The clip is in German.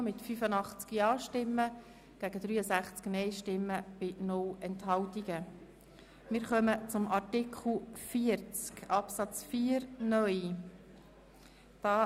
Es liegt ein Antrag Regierungsrat und BaK gegen einen Antrag SVP/Guggisberg auf Streichung vor.